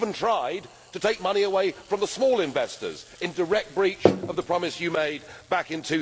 You even tried to take money away from the small investors, in direct breach of the promise you made back in